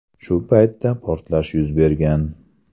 Shu paytda portlash yuz bergan.